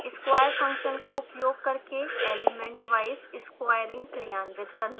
square function का उपयोग करके elementwise squaring क्रियान्वित करना